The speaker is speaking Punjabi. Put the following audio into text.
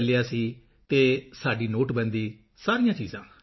ਚੱਲਿਆ ਸੀ ਅਤੇ ਸਾਡੀ ਨੋਟਬੰਦੀ ਸਾਰੀਆਂ ਚੀਜ਼ਾਂ